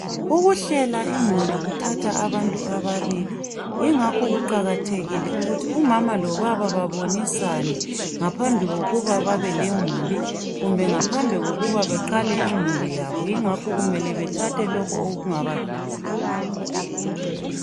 Ukuhlela imuli kuthatha abantu ababili yingakho kuqakathekile ukuthi umama lobaba babonisane ngaphambi kwokuba balemuli kumbe bengaphambi ngokuba beqale imuli yabo ngengakho bemele bethathe lokho okungabavikela.